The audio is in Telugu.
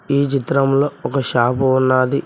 ఈ చిత్రంలో ఒక షాపు ఉన్నాది.